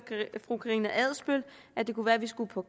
fru karina adsbøl at det kunne være at vi skulle på